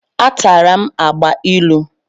Atara m agbailu.